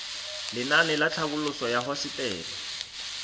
lenaane la tlhabololosewa ya hosetele